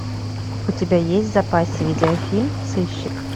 у тебя есть в запасе видеофильм сыщик